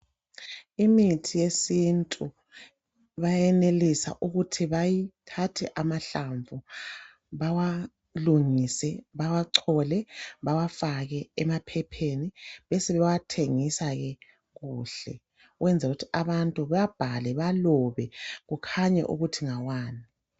Imithi yesintu bayenelisa ukuthi bathathe amahlamvu bawalungise. Bawacole bawafake emaphepheni, besebewathengisake kuhle. Ukunzela ukuthi abantu bawabhale bawalobe kukhanya ukuthi ngawani.